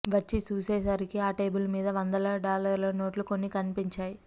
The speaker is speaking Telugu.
వచ్చి చూసేసరికి ఆ టేబుల్ మీద వందల డాలర్ల నోట్లు కొన్ని కనిపించాయి